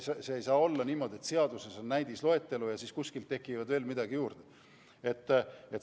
Ei saa olla niimoodi, et seaduses on näidisloetelu ja siis kuskilt tekib veel midagi juurde.